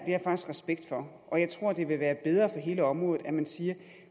jeg faktisk respekt for og jeg tror at det vil være bedre for hele området at man siger at